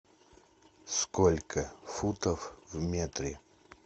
сколько футов в метре